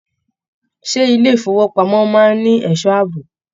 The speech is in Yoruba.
Ṣé ilé ifowopamọ máa n ní ẹsọ́ ààbò?